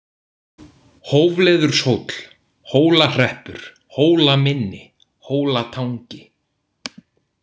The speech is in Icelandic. Hófleðurshóll, Hólahreppur, Hólamynni, Hólatangi